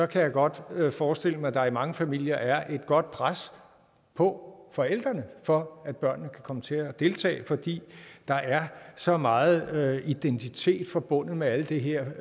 kan jeg godt forestille mig at der i mange familier er et godt pres på forældrene for at børnene kan komme til at deltage fordi der er så meget meget identitet forbundet med alt det her